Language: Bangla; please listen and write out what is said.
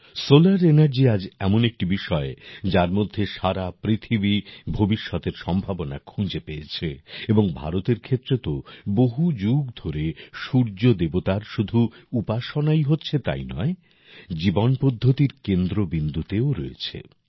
সোলার এনার্জি আজ এমন একটি বিষয় যার মধ্যে সারা পৃথিবী ভবিষ্যতের সম্ভাবনা খুঁজে পেয়েছে এবং ভারতের ক্ষেত্রে তো বহু যুগ ধরে সূর্যদেবতার শুধু উপাসনাই হচ্ছে তাই নয় জীবন পদ্ধতির কেন্দ্রবিন্দুতেও রয়েছে